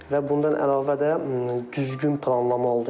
Və bundan əlavə də düzgün planlama oldu.